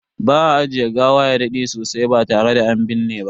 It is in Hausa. Ba a ajiye gawa ya dade sosai ba tare da an binne ba.